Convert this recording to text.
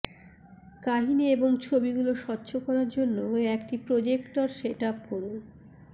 কাহিনী এবং ছবিগুলি স্বচ্ছ করার জন্য একটি প্রজেক্টর সেট আপ করুন